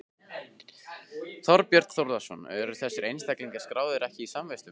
Þorbjörn Þórðarson: Eru þessir einstaklingar skráðir ekki í samvistum?